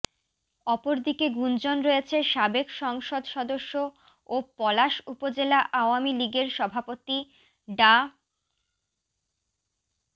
অপরদিকে গুঞ্জন রয়েছে সাবেক সংসদ সদস্য ও পলাশ উপজেলা আওয়ামী লীগের সভাপতি ডা